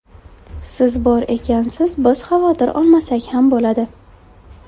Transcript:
Siz bor ekansiz, biz xavotir olmasak ham bo‘ladi.